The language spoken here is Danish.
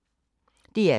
DR P2